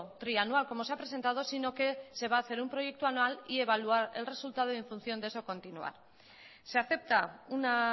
trianual como se ha presentado si no que se va a hacer un proyecto anual y evaluar el resultado y en función de eso continuar se acepta una